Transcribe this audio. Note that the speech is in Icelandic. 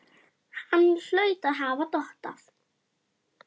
Hann hlaut að hafa dottað.